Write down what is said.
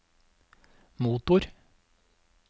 motor